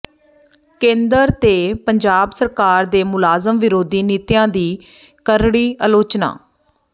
ਕੇਂਦਰ ਤੇ ਪੰਜਾਬ ਸਰਕਾਰ ਦੀ ਮੁਲਾਜ਼ਮ ਵਿਰੋਧੀ ਨੀਤੀਆਂ ਦੀ ਕਰੜੀ ਅਲੋਚਨਾ